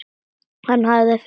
Hann hafði fengið þrjú bréf.